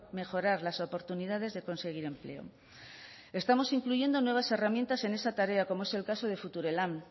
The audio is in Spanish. mejorar las oportunidades de conseguir empleo estamos incluyendo nuevas herramientas en esa tarea como es el caso de future lan